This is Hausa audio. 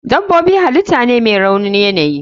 Dabobi halitah ne mai raunin yanayi.